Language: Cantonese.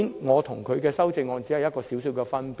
我和他的修正案只有些微分別。